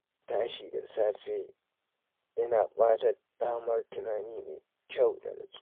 Tashi da safe yana ba da damar tunani mai kyau da nutsuwa